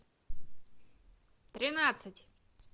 тринадцать